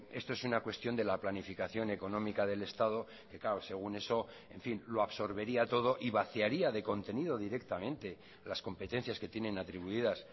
esto es una cuestión de la planificación económica del estado que claro según eso en fin lo absorbería todo y vaciaría de contenido directamente las competencias que tienen atribuidas